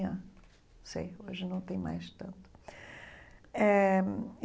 Não sei, hoje não tem mais tanto eh.